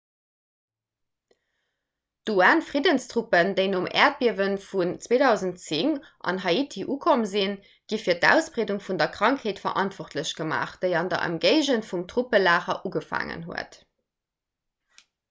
d'un-friddenstruppen déi nom äerdbiewe vun 2010 an haiti ukomm sinn gi fir d'ausbreedung vun der krankheet verantwortlech gemaach déi an der ëmgéigend vum truppelager ugefaangen huet